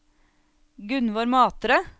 Gunvor Matre